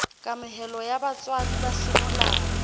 kamohelo ya botswadi ba semolao